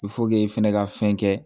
e fɛnɛ ka fɛn kɛ